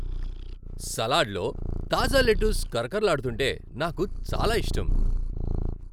సలాడ్లో తాజా లెట్టుస్ కరకరలాడుతుంటే నాకు చాలా ఇష్టం.